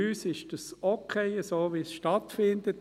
Für uns ist es okay, so, wie es stattfindet.